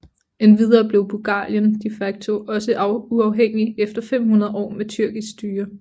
Endvidere blev Bulgarien de facto også uafhængigt efter 500 år med tyrkisk styre